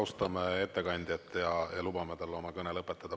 Austame ettekandjat ja lubame tal oma kõne lõpetada.